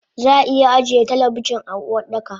Zaa iya ajiye talabijin a Uwardaka